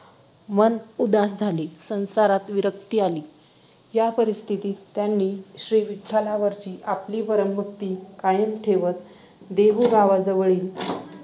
मन उदास झाले, संसारात विरक्ती आली. या परिस्थितीत त्यांनी श्रीविठ्ठलावरची आपली परमभक्ती कायम ठेवत देहू गावाजवळील